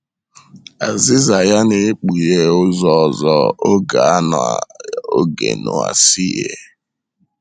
Azịza ya na - ekpughe ụzọ ọzọ oge a na oge Noa si yie.